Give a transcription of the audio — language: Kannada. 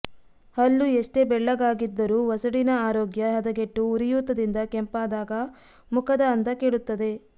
ಹಲ್ಲು ಎಷ್ಟೇ ಬೆಳ್ಳಗಾಗಿದ್ದರೂ ವಸಡಿನ ಆರೋಗ್ಯ ಹದಗೆಟ್ಟು ಉರಿಯೂತದಿಂದ ಕೆಂಪಾದಾಗ ಮುಖದ ಅಂದ ಕೆಡುತ್ತದೆ